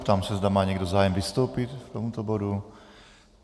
Ptám se, zda má někdo zájem vystoupit k tomuto bodu.